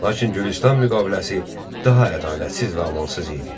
Lakin Gülüstan müqaviləsi daha ədalətsiz və amansız idi.